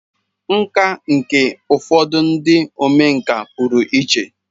Nkà nke ụfọdụ ndị omenkà pụrụ iche.